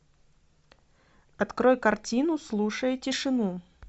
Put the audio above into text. открой картину слушай тишину